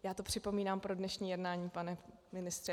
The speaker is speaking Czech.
Já to připomínám pro dnešní jednání, pane ministře.